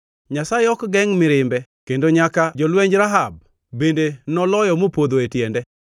Nyasaye ok gengʼ mirimbe kendo nyaka jolwenj Rahab bende noloyo mopodho e tiende.